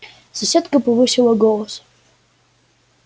соседка повысила голос